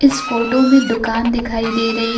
इस फोटो में दुकान दिखाई दे रही --